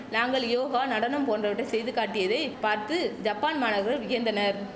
நாங்கள் யோகா நடனம் போன்றவற்றை செய்து காட்டியதை பார்த்து ஜப்பான் மாணவர்கள் வியந்தனர்